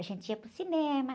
A gente ia para o cinema.